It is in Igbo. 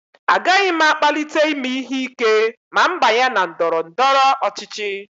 Agaghị m akpalite ime ihe ike ma m banye na ndọrọ ndọrọ ọchịchị